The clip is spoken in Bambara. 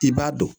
I b'a dɔn